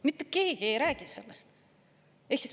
Mitte keegi ei räägi sellest.